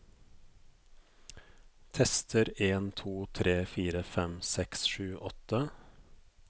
Tester en to tre fire fem seks sju åtte